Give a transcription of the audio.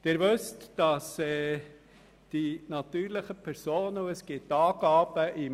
Schweizweit liegt unsere Besteuerung natürlicher Personen im Bereich von Rang 22 bis 24.